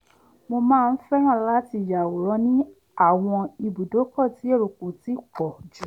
mo máa ń fẹ́ràn láti yàwòrán ní àwọn ibùdókọ̀ tí èrò kò ti pọ̀ jù